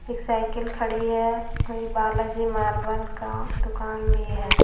इ साइकिल खड़ी है और यह बालाजी मार्बल का दुकान भी है।